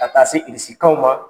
Ka taa se irisikanw ma